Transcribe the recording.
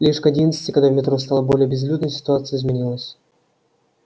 лишь к одиннадцати когда в метро стало более безлюдно ситуация изменилась